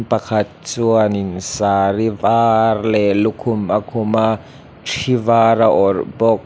pakhat chuan in saree var leh lukhum a khum a thi var a awrh bawk.